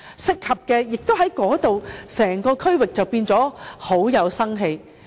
這樣，整個區域便會變得很有生氣。